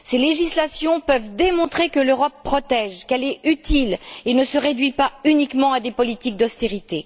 Ces législations peuvent démontrer que l'Europe protège, qu'elle est utile et qu'elle ne se réduit pas uniquement à des politiques d'austérité.